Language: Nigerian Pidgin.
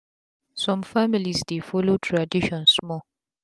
sum families dey follow tradition small